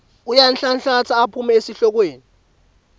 uyanhlanhlatsa aphume esihlokweni